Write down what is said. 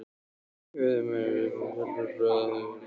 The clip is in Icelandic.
Nikki beið ekki eftir viðbrögðum stúlkunnar heldur hvarf á brott.